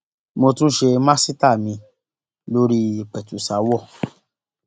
mo tún ṣe màsítáà miín lórí ìpẹtùsàáwọ